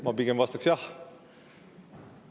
Ma pigem vastaks "jah".